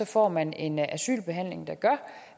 får man en asylbehandling der gør